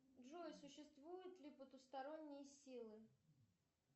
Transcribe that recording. джой существуют ли потусторонние силы